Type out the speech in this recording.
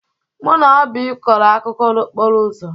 Mụ na Oby kọrọ akụkọ n'okporo ụzọ.